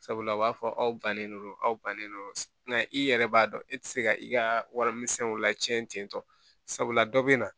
Sabula a b'a fɔ aw bannen no aw bannen no na i yɛrɛ b'a dɔn e tɛ se ka i ka warimisɛnw lacɛn ten tɔ sabula dɔ bɛ na